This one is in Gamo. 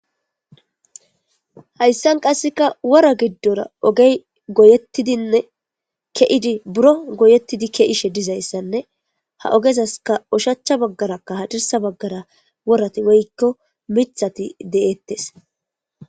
hayssan qasseka wora giddora ogey goyettidinne ke7idi buro goyettidi ke7ishe dizayssanne ha ogezaska ushacha baggarakka ha dirsa baggara worati woykko mithati de7eettes